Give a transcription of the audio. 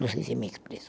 Não sei se me expresso.